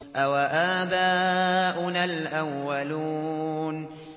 أَوَآبَاؤُنَا الْأَوَّلُونَ